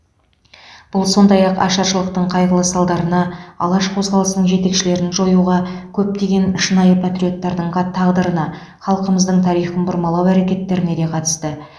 бұл сондай ақ ашаршылықтың қайғылы салдарына алаш қозғалысының жетекшілерін жоюға көптеген шынайы патриоттардың тағдырына халқымыздың тарихын бұрмалау әрекеттеріне де қатысты